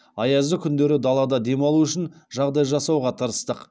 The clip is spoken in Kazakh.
аязды күндері далада демалу үшін жағдай жасауға тырыстық